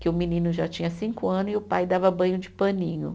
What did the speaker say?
Que o menino já tinha cinco ano e o pai dava banho de paninho.